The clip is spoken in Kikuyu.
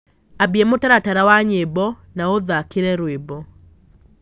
ambĩa mũtaratara wa nyĩmbo na uthakire rwĩmbo